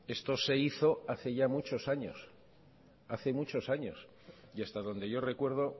esto se hizo hace ya muchos años hace muchos años y hasta donde yo recuerdo